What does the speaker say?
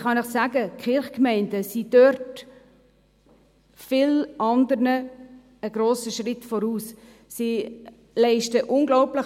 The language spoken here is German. Ich kann Ihnen sagen, dass die Kirchgemeinden in diesem Bereich vielen anderen einen grossen Schritt voraus sind.